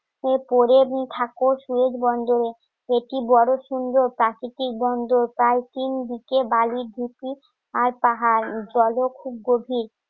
পড়ে দুই ঠাকুর সুয়েজ বন্ধ একটি বড় সুন্দর প্রাকৃতিক গন্ধ কাল তিন দিকে বালির ভীতি আর পাহাড় জলও খুব গভীর